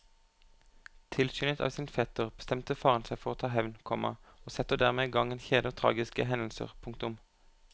Tilskyndet av sin fetter bestemmer faren seg for å ta hevn, komma og setter dermed i gang en kjede av tragiske hendelser. punktum